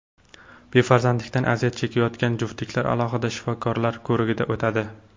Befarzandlikdan aziyat chekayotgan juftliklar alohida shifokorlar ko‘rigidan o‘tadi.